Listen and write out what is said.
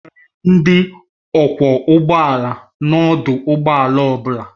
Enwere ndị ọkwọ ụgbọ ala n'ọdụ ụgbọ ala ọ bụla